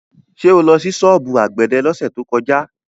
Ṣé o lọ sí ṣọ́ọ̀bù àgbẹ̀dẹ lọ́sẹ̀ tó kọjá?